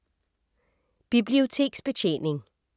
Biblioteksbetjening